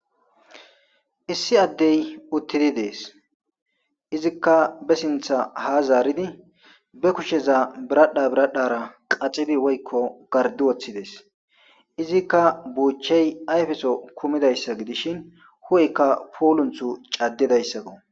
Issi addey uttidi deesi. Izikka be sinththa ha zaaridi be kusheza biradha biradhara qaxidi woykko garddi woththides. Izikka buuchchey ayfeso kumidayssa gidishin hu'eykka puulunththa caddidaysako.